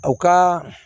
U ka